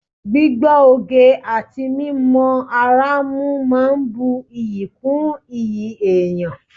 Gbígbọ́ oge àti mímọ ara mú máa ń bu iyì kún iyì èèyàn